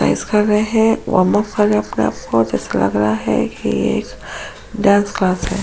ऐसा लग रहा है जैसे लग रहा है कि ये एक डांस क्लास हैं।